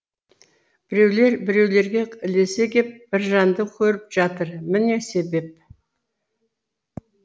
біреулер біреулерге ілесе кеп біржанды көріп жатыр міне себеп